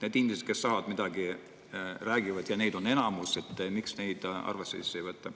Need inimesed, kes midagi, räägivad – ja neid on enamus –, miks neid arvesse ei võeta?